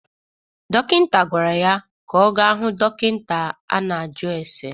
Dokịnta gwara ya ka ọ ga hụ dokịnta a na-ajụ ase.